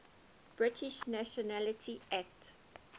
british nationality act